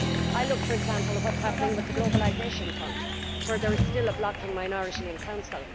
I look, for example, at what is happening with the Globalisation Fund, where there is still a blocking minority in Council.